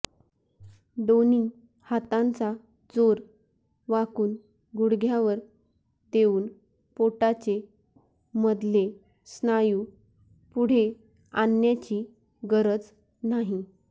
दोन्ही हातांचा जोर वाकुन गुडघ्यावर देऊन पोटाचे मधले स्नायु पुढे आणण्याची गरज नाही